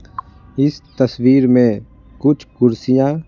इस तस्वीर में कुछ कुर्सियां--